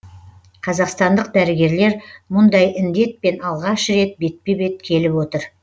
қазақстандық дәрігерлер мұндай індетпен алғаш рет бетпе бет келіп отыр